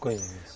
Conheço.